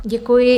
Děkuji.